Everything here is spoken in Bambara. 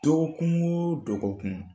Dɔgɔkun o dɔgɔkun